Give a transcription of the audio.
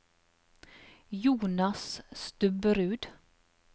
Jonas Stubberud